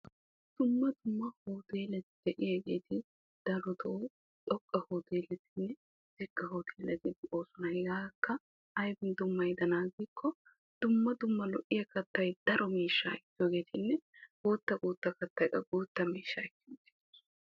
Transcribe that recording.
Dumma dumma hooteleti de'iyaageti darotoo xoqqa hoteeleti xiqqa hoteeleti de'oosona. hegaakka aybin dummayidanaa giikko dumma dumma lo'iyaa kattay daro miishshaa ekkiyaagetanne guutta guutta kattay qassi guutta miishshaa.